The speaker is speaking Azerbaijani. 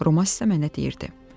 Roman isə mənə deyirdi.